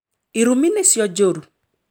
Irumi nĩcio njũru